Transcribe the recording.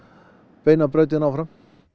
beina brautin áfram